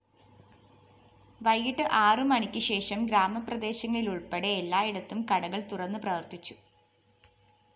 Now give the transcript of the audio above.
വൈകിട്ട് ആറുമണിക്ക് ശേഷം ഗ്രാമപ്രദേശങ്ങളിലുള്‍പ്പെടെ എല്ലായിടത്തും കടകള്‍ തുറന്ന് പ്രവര്‍ത്തിച്ചു